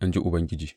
in ji Ubangiji.